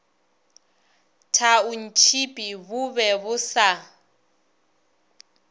thaontšhipi bo be bo sa